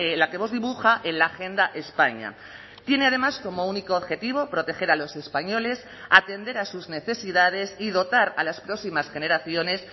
la que vox dibuja en la agenda españa tiene además como único objetivo proteger a los españoles atender a sus necesidades y dotar a las próximas generaciones